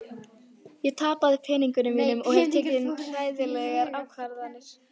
Ég tapaði peningunum mínum og hef tekið hræðilegar ákvarðanir.